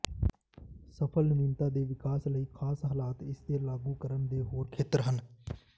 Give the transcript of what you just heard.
ਸਫਲ ਨਵੀਨਤਾ ਦੇ ਵਿਕਾਸ ਲਈ ਖਾਸ ਹਾਲਾਤ ਇਸ ਦੇ ਲਾਗੂ ਕਰਨ ਦੇ ਹੋਰ ਖੇਤਰ ਹਨ